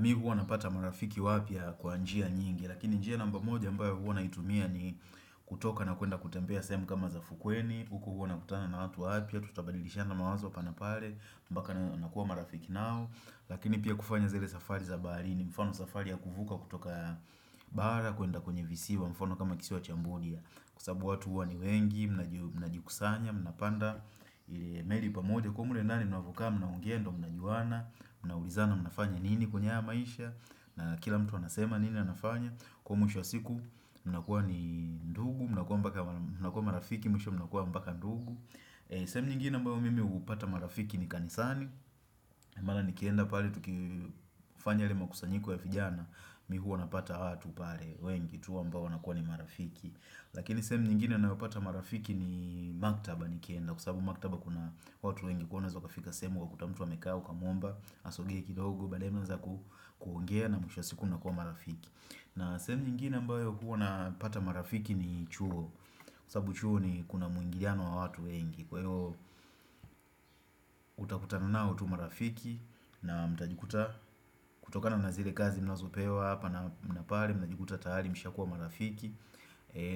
Mimi huwa napata marafiki wapyaa kwa njia nyingi. Lakini njia namba moja ambayo huwa naitumia ni kutoka na kuenda kutembea sehemu kama za fukweni. Huku huwa nakutana na watu wapya, tutabadilishana mawazo hapa na pale mpaka nakuwa marafiki nao. Lakini pia kufanya zile safari za baharini mfano safari ya kuvuka kutoka bara kuenda kwenye visiwa mfano kama kisiwa cha Mbudia. Kwa sababu watu huwa ni wengi, mnajikusanya, mnapanda ile meli pamoja, ukiwa mle ndani mnavyokaa, mnaongea ndiyo mnajuana. Mnaulizana mnafanya nini kwenye haya maisha, na kila mtu anasema nini anafanya. Kwa mwisho wa siku mnakuwa ni ndugu Mnakuwa mpaka, mnakuwa marafiki, mwisho mnakuwa mpaka ndugu. Sehemu nyingine ambayo mimi hupata marafiki ni kanisani Mara nikienda pale tukifanya yale makusanyiko ya vijana mimi hua napata watu pale wengi tu ambao wanakuwa ni marafiki. Lakini sehemu nyingine ninayopata marafiki ni maktaba nikienda. Kwa sababu maktaba kuna watu wengi kuwa unaeza ukafika sehemu ukakuta mtu amekaa ukamwomba asogee kidogo baadaye mnaweza kuongea na mwisho wa siku unakuwa marafiki. Na sehemu nyingine ambayo hua napata marafiki ni chuo kwa sababu chuo ni, kuna muingiliano wa watu wengi, kwa hiyo utakutana nao tu marafiki na mtajikuta kutokana na zile kazi mnazopewa hapa na pale mnajikuta tayari mshakuwa marafiki.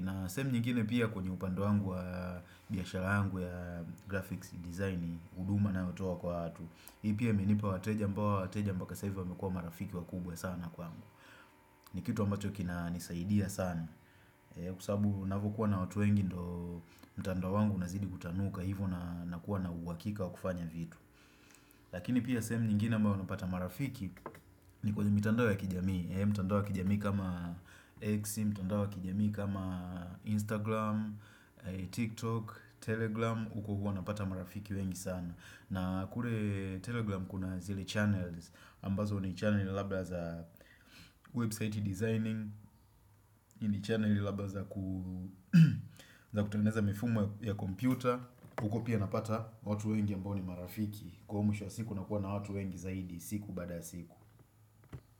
Na sehemu nyingine pia kwenye upande wangu wa biashara yangu ya graphics design huduma ninayotoa kwa watu. Hii pia imenipa wateja ambao wateja mpaka sasa hivi wamekuwa marafiki wakubwa sana kwangu. Ni kitu ambacho kinanisaidia sana. Kwa sababu ninavyokuwa na watu wengi ndio mtandao wangu unazidi kutanuka hivo na kuwa na uhakika wa kufanya vitu. Lakini pia sehemu nyingine ambao napata marafiki ni kwenye mitandao ya kijamii. Mtandao wa kijamii kama X, mtandao wa kijamii kama Instagram, TikTok, telegram huko hua napata marafiki wengi sana. Na kule telegram kuna zile channels ambazo ni channel labda za website designing. Ni channel labda za ku za kutengeneza mifumo ya kompyuta huko pia napata watu wengi ambao ni marafiki. Kwa mwisho wa siku unakuwa na watu wengi zaidi siku baada ya siku.